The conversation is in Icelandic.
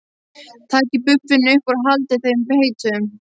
Takið buffin upp úr og haldið þeim heitum.